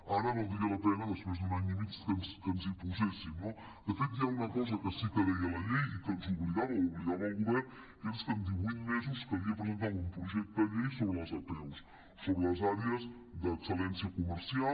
ara valdria la pena des·prés d’un any i mig que ens hi poséssim no de fet hi ha una cosa que sí que deia la llei i que ens obligava obligava el go·vern que és que en divuit mesos calia presentar un projecte de llei sobre les apeus sobre les àrees d’excel·lència comercial